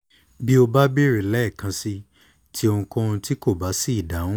bi o ba beere lẹẹkansi ti ohunkohun ti ko ba si idahun